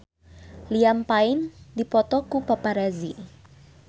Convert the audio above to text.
Liam Payne dipoto ku paparazi